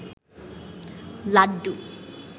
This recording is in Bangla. লাড্ডু